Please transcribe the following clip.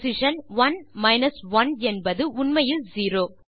position one minus one என்பது உண்மையில் zero